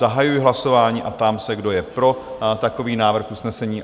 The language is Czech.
Zahajuji hlasování a ptám se, kdo je pro takový návrh usnesení?